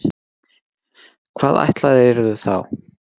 Hvað ætlaðirðu þá?